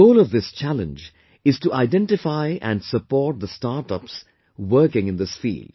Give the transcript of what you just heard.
The goal of this challenge is to identify and support the startups working in this field